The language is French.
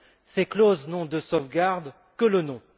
Ces clauses n'ont de sauvegarde que le nom.